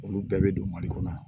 Olu bɛɛ bɛ don mali kɔnɔ yan